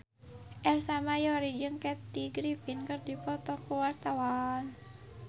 Ersa Mayori jeung Kathy Griffin keur dipoto ku wartawan